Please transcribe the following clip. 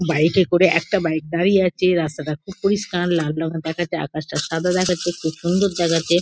Bike -এ করে একটা বাইক দাঁড়িয়ে আছে রাস্তাটা খুব পরিষ্কার লাল রঙের দেখাচ্ছে আকাশটা সাদা দেখাচ্ছে খুব সুন্দর দেখাচ্ছে।